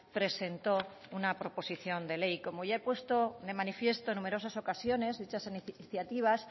presentó una proposición de ley como ya he puesto de manifiesto en numerosas ocasiones dichas iniciativas